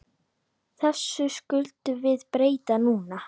Þessu skulum við breyta núna.